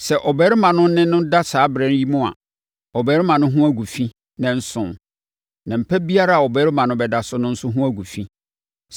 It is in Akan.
“ ‘Sɛ ɔbarima ne no da saa ɛberɛ yi mu a, ɔbarima no ho gu fi nnanson; na mpa biara a ɔbarima no bɛda so no nso ho gu fi.